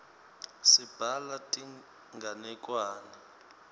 sibhala tinganekwane